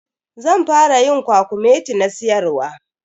Zan fara yin kwakumeti na siyarwa.